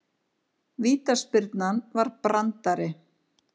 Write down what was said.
Vítaspyrnan var brandari